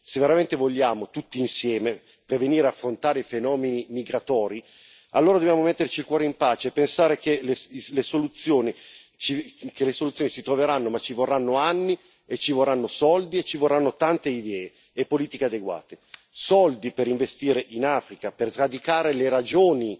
Se veramente vogliamo, tutti insieme, prevenire ed affrontare i fenomeni migratori, allora dobbiamo metterci il cuore in pace e pensare che le soluzioni si troveranno, ma ci vorranno anni e ci vorranno soldi e ci vorranno tante idee e politiche adeguate soldi per investire in Africa, per sradicare le ragioni